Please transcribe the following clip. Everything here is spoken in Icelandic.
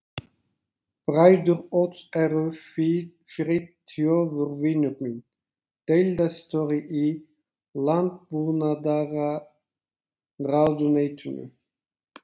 Bræður Odds eru Friðþjófur vinur minn, deildarstjóri í landbúnaðarráðuneytinu